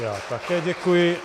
Já také děkuji.